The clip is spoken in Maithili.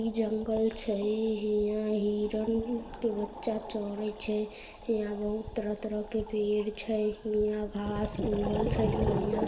इ जंगल छै हीया हिरण के बच्चा चरे छै हीया बहुत तरह-तरह के पेड़ छै हीया उगल छै हीया --